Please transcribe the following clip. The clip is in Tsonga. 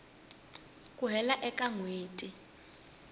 ku hela ka n hweti